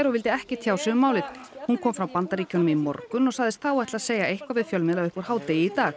og vildi ekki tjá sig um málið í hún kom frá Bandaríkjunum í morgun og sagðist þá ætla að segja eitthvað við fjölmiðla upp úr hádegi í dag